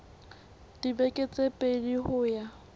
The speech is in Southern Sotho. dibeke tse pedi ho ya